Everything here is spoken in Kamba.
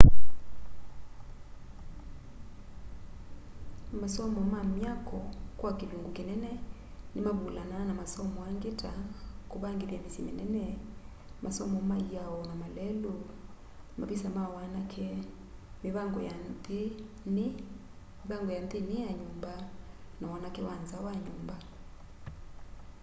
masomo ma myako kwa kilungu kinene nimavulanaa na masomo angi ta kuvangithya misyi minene masomo ma iao na malelu mavisa ma wanake mivango ya nthini ya nyumba na wanake wa nza wa nyumba